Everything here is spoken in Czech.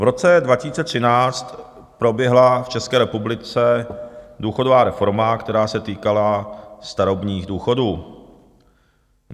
"V roce 2013 proběhla v České republice důchodová reforma, která se týkala starobních důchodů.